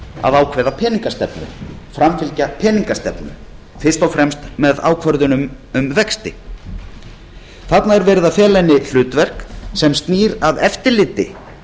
að ákveða peningastefnu framfylgja peningastefnu fyrst og fremst með ákvörðunum um vexti þarna er verið að fela henni hlutverk sem snýr að eftirliti